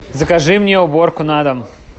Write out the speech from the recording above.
закажи мне уборку на дом